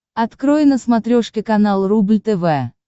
открой на смотрешке канал рубль тв